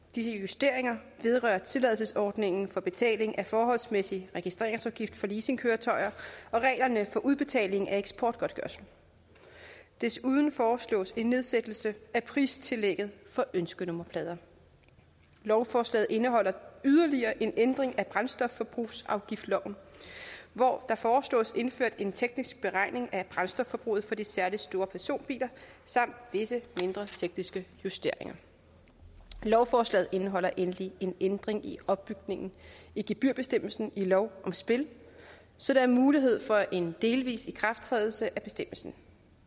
disse justeringer vedrører tilladelsesordningen for betaling af forholdsmæssig registreringsafgift for leasingkøretøjer og reglerne for udbetaling af eksportgodtgørelse desuden foreslås en nedsættelse af pristillægget for ønskenummerplader lovforslaget indeholder yderligere en ændring af brændstofforbrugsafgiftsloven hvor der foreslås indført en teknisk beregning af brændstofforbruget for de særlig store personbiler samt visse mindre tekniske justeringer lovforslaget indeholder endelig en ændring i opbygningen i gebyrbestemmelsen i lov om spil så der er mulighed for en delvis ikrafttrædelse af bestemmelsen